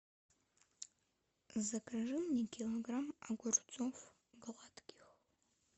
закажи мне килограмм огурцов гладких